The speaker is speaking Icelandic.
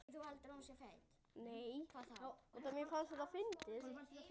Þá færðu sömu söguna.